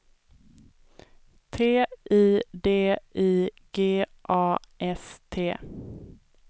T I D I G A S T